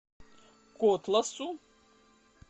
котласу